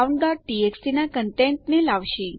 અને આ countટીએક્સટી ના કન્ટેન્ટને લાવશે